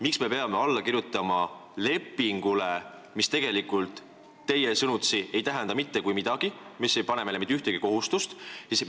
Miks me peame alla kirjutama lepingule, mis teie sõnutsi ei tähenda mitte kui midagi, mis ei pane meile mitte ühtegi kohustust?